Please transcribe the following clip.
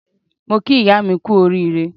Mo kí ìyá mi kú oríire.